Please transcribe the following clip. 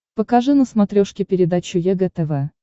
покажи на смотрешке передачу егэ тв